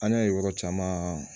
An y'a ye yɔrɔ caman